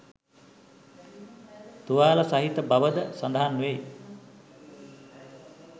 තුවාල සහිත බව ද සඳහන් වෙයි